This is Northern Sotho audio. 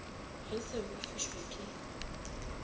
ga le sa boifišwa ke